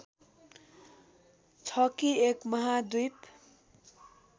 छ कि एक महाद्वीप